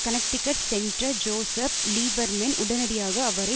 Connecticut senator Joseph Lieberman உடனடியாக அவரை